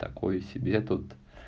такое себе тут